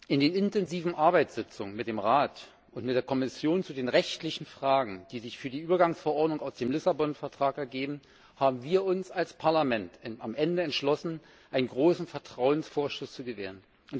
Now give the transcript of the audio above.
In den intensiven Arbeitssitzungen mit dem Rat und mit der Kommission zu den rechtlichen Fragen, die sich für die Übergangsverordnung aus dem Vertrag von Lissabon ergeben, haben wir uns als Parlament am Ende entschlossen, einen großen Vertrauensvorschuss zu gewähren.